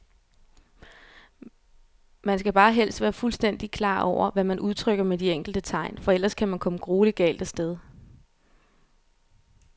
Man skal bare helst være fuldstændigt klar over, hvad man udtrykker med de enkelte tegn, for ellers kan man komme grueligt galt af sted.